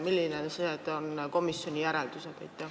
Millised on komisjoni järeldused?